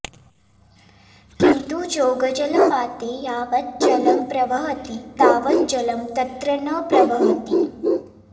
किन्तु जोगजलपाते यावत् जलं प्रवहति तावत् जलं तत्र न प्रवहति